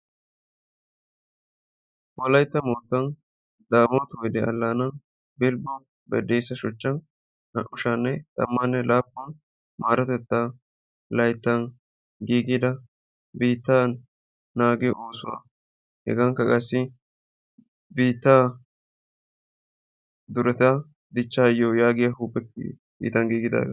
Wolaytta moottan Daamoti woydde allaana Bilbbo Baddeessa shuchchan naa"u shaa'anne Tamanne laappun maarotetta layttan giigida biitta naagiyo oosuwaa hegakka qassi biittaa dichchayo yaagiya oosuwaa ..